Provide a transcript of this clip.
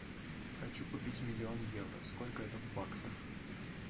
хочу купить миллион евро сколько это в баксах